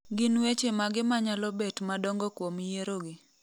Gin weche mage manyalo bet madongo kuom yierogi.